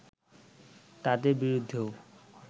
তাদের বিরুদ্ধেও